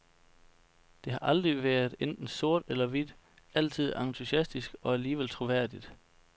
Det har aldrig været enten sort eller hvidt, altid entusiastisk og alligevel troværdigt.